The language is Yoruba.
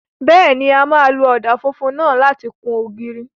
Bẹ́ẹ̀ni, a máa lo ọ̀dà funfun náà láti kun ògiri.